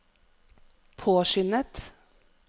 påskyndet